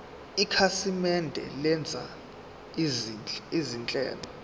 ikhasimende lenza izinhlelo